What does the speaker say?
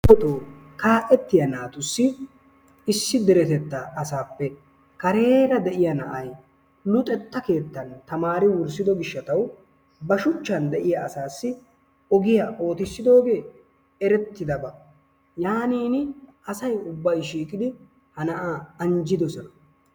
darotoo kaa'etiyaa naatussi issi deretettan asappe kareera de'iyaa na'ay luxetta keettan tamaari wurssido gishshataw ba shuchchan de'iyaa asassi ogiyaa oottisidooge erettidabaa, yaanin asay ubbay shiiqidi ha na'aa anjjidoosona.